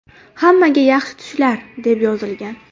Hammaga yaxshi tushlar”, deb yozilgan.